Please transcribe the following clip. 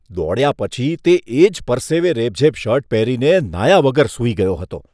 દોડ્યા પછી તે એ જ પરસેવે રેબઝેબ શર્ટ પહેરીને નહાયા વગર સૂઈ ગયો હતો.